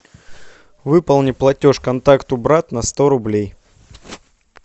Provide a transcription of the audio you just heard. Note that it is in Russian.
выполни платеж контакту брат на сто рублей